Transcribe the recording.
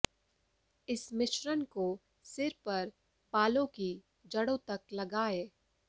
इस मिश्रण को सिर पर बालों की जड़ों तक लगाएं